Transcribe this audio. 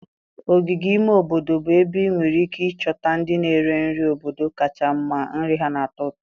Ogige ime obodo bụ ebe ị nwere ike ịchọta ndị na-ere nri nri obodo kacha mma. Nri ha na-atọ ụtọ.